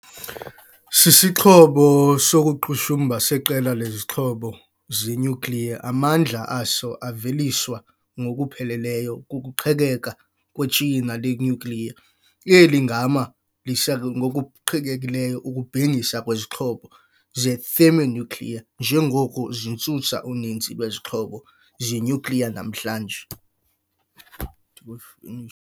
Sisixhobo sokuqhushumba seqela lezixhobo zenyukliya, amandla aso aveliswa ngokupheleleyo kukuqhekeka kwetsheyina lenyukliya. Eli gama lisekwe ngokuqhekekileyo ukubhengisa kwizixhobo ze-thermonuclear, njengoko zisusa uninzi lwezixhobo zenyukliya namhlanje.